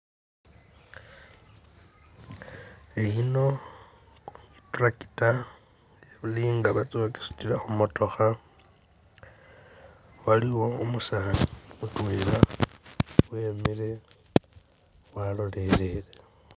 Iyino i'tractor ili nga batsa khukisutila khumotokha nenga waliwo umusani mutwela wemile walolelele.